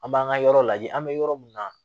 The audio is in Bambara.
An b'an ka yɔrɔ lajɛ an bɛ yɔrɔ min na